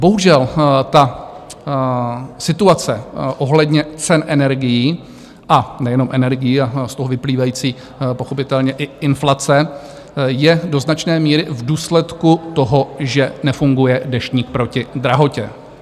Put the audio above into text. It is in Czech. Bohužel ta situace ohledně cen energií, a nejenom energií, a z toho vyplývající pochopitelně i inflace je do značné míry v důsledku toho, že nefunguje Deštník proti drahotě.